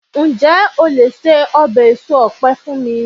njé o le se obe eso òpe fún mi